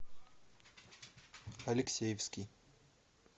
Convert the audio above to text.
алексеевский